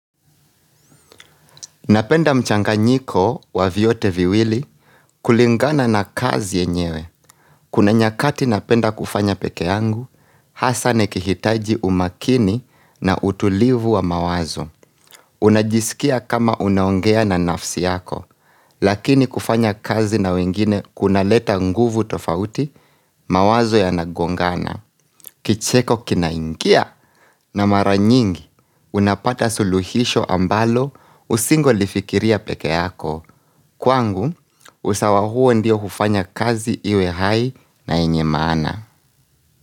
Napenda mchanganyiko wa vyote viwili kulingana na kazi yenyewe. Kuna nyakati napenda kufanya peke yangu, hasa nikihitaji umakini na utulivu wa mawazo. Unajisikia kama unaongea na nafsi yako, lakini kufanya kazi na wengine kuna leta nguvu tofauti mawazo yanagongana. Kicheko kinaingia na maranyingi, unapata suluhisho ambalo usingo lifikiria pekeako. Kwangu, usawa huo ndio hufanya kazi iwe hai na yenye maana.